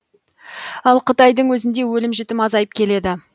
ал қытайдың өзінде өлім жітім азайып келеді